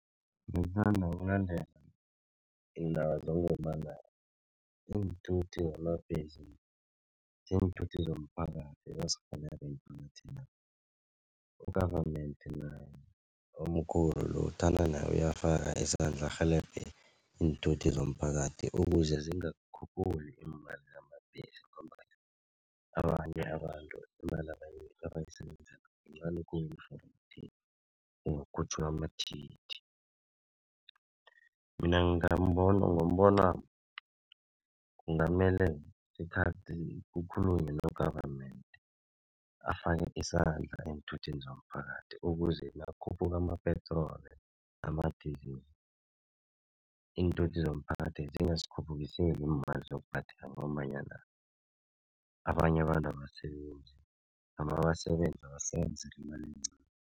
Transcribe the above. iinthuthi zamabhesi ziinthuthi zomphakathi u-government naye omkhulu lo thana naye uyafaka isandla arhelebhe iinthuthi zomphakathi ukuze zingakhuphuki iimali zama-taxi ngombana abanye abantu imali abayisebenzako yincani khulu for ukuthi kungakhutjhulwa amathikithi. Mina ngombonwami kungamele kukhulunywe no-government afake isandla eenthuthini zomphakathi ukuze nakukhuphuka ama-petrol nama-diesel iinthuthi zomphakathi zingasikhuphukiseli iimali zokubhadela ngombanyana abanye abantu abasebenzi noma basebenza basebenzela imali encani.